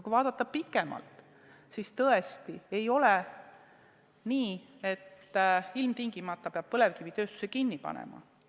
Kui vaadata pikemalt ette, siis tõesti ei ole nii, et ilmtingimata peab põlevkivitööstuse kinni panema.